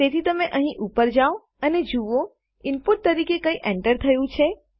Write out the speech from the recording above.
તેથી તમે અહીં ઉપર જાઓ અને જુઓ ઈનપુટ તરીકે કંઈ એન્ટર થયું છે